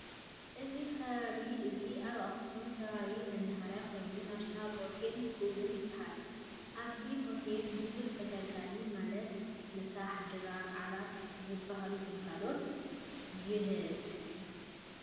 እዚ ከባቢ እዚ ኣብ ኣክሱም ከባቢ መናሃርያ ኮይኑ ናሽናል ሆቴል ይእወን ይበሃል። ኣብዚ ሆቴል ብዙሕ ተገልጋላይ ማለት ምሳሕ፣ ድራር፣ ዓራት ዝበሉ ግልጋሎት ይህብ።